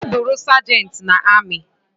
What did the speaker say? Gaa bụrụi sergent na ami